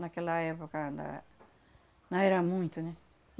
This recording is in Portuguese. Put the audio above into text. Naquela época lá não era muito, né?